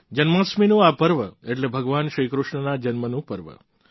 જન્માષ્ટમીનું આ પર્વ એટલે ભગવાન શ્રી કૃષ્ણના જન્મનું પર્વ